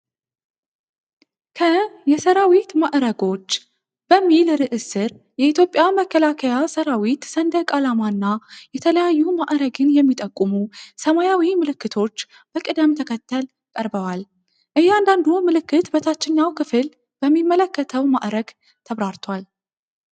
ከ "የሰራዊት ማዕረጎች" በሚል ርዕስ ስር የኢትዮጵያ መከላከያ ሠራዊት ሰንደቅ ዓላማ እና የተለያዩ ማዕረግን የሚጠቁሙ ሰማያዊ ምልክቶች በቅደም ተከተል ቀርበዋል። እያንዳንዱ ምልክት በታችኛው ክፍል በሚመለከተው ማዕረግ ተብራርቷል።